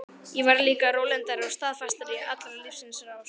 Ég varð líka rólyndari og staðfastari í allri lífsins rás.